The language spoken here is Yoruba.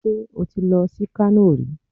Ṣé o ti lọ sí Kano rí?